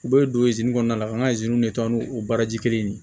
U bɛ don kɔnɔna la an ka de taa n'u baaraji kelen ye